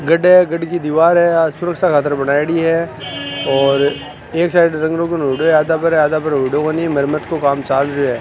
गढ़ है गाढ़ी की दीवार है सुरक्षा खातिर बनाई गई है और एक साइड रंग-रोगन होय्डों है आधा पर आधा पर होय्डों कोणी मरम्मत को काम चाल रियो है।